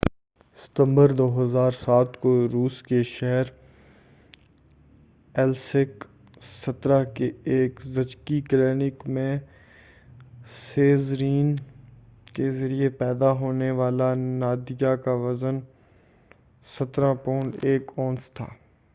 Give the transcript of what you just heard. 17 ستمبر 2007 کو روس کے شہر ایلیسک کے ایک زچگی کلینک میں سیزرین کے ذریعہ پیدا ہونے والی نادیہ کا وزن 17 پاؤنڈ 1 اونس تھا